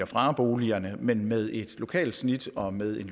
fra boligerne men med et lokalt snit og med en